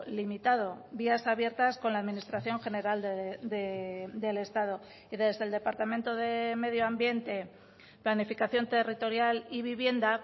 limitado vías abiertas con la administración general del estado y desde el departamento de medio ambiente planificación territorial y vivienda